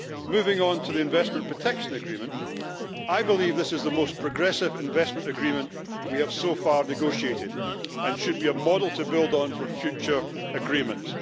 Moving on to the Investment Protection Agreement, I believe this is the most progressive investment agreement we have so far negotiated, and it should be a model to build on for future agreements.